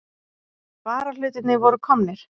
Varahlutirnir voru komnir.